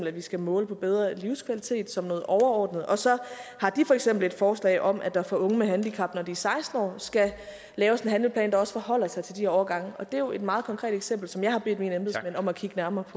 at vi skal måle på bedre livskvalitet som noget overordnet og så har de for eksempel et forslag om at der for unge med handicap når de er seksten år skal laves en handleplan der også forholder sig til de årgange det er jo et meget konkret eksempel som jeg bedt mine embedsmænd om at kigge nærmere